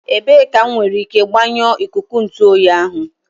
Ebee ka m nwere ike gbanyụọ ikuku ntu oyi ahu